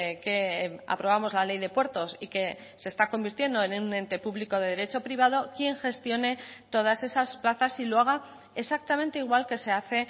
que aprobamos la ley de puertos y que se está convirtiendo en un ente público de derecho privado quien gestione todas esas plazas y lo haga exactamente igual que se hace